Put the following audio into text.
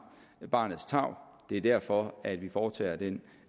til barnets tarv det er derfor at vi foretager den